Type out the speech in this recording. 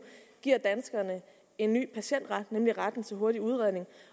giver danskerne en ny patientret nemlig retten til hurtig udredning